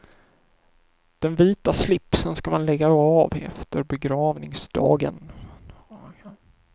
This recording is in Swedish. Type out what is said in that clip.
Den vita slipsen ska man lägga av efter begravningsdagen.